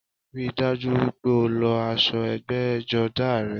Ríi dájú wípé o lọ aṣọ ẹgbẹ́jọdá rẹ